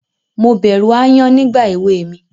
Mo bẹ̀rù aáyán nígbà èwe mi.